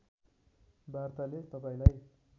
वार्ताले तपाईँलाई